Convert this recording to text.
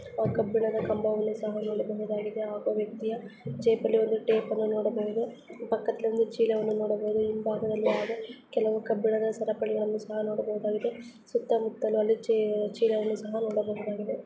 ಕಬ್ಬಿಣದ ಕಂಭವನ್ನು ಸಹ ನೋಡಬಹುದಾಗಿದೆ ಹಾಗೂ ವ್ಯಕ್ತಿಯ ಜೇಬುಲ್ಲಿ ಒಂದು ಟೇಪ್ ಅನ್ನು ನೋಡಬಹುದು ಪಕ್ಕದಲ್ಲಿ ಚೀಲವನ್ನು ನೋಡಬಹುದು ಹಿಂಭಾಗದಲ್ಲಿ ಆದರೆ ಕೆಲವು ಕಬ್ಬಿಣದ ಸರಪಳಿ ಗಳು ಸಹ ನೋಡಬಹುದಾಗಿದೆ ಸುತ್ತಾ ಮುತ್ತಲು ಅಲ್ಲಿ ಚೀಲಗಳನ್ನು ನೋಡಬಹುದಾಗಿದೆ.